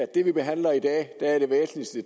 det vi behandler i dag er det væsentligste